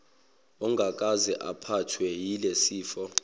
ongakaze aphathwe yilesifo